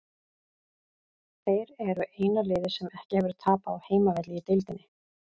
Þeir eru eina liðið sem ekki hefur tapað á heimavelli í deildinni.